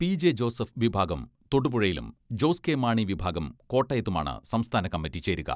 P J Joseph വിഭാഗം തൊടുപുഴയിലും, Jose K Mani വിഭാഗം കോട്ടയത്തുമാണ് സംസ്ഥാന കമ്മിറ്റി ചേരുക.